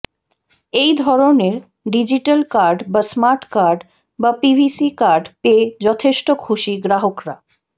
এই ধরনের digital card বা স্মার্ট কার্ড বা পিভিসি কার্ড পেয়ে যথেষ্ট খুশি গ্রাহকরা